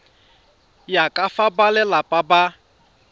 ya ka fa balelapa ba